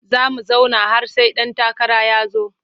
Za mu zauna har sai ɗan takara ya zo.